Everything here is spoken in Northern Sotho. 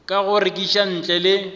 ka go rekiša ntle le